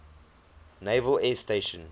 naval air station